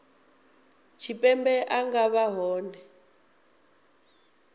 tshipembe a nga vha hone